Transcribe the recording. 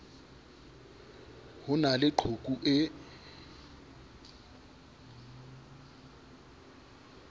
ho na le qhoku e